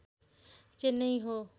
चेन्नई हो